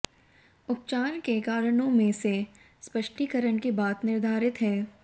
उपचार के कारणों में से स्पष्टीकरण के बाद निर्धारित है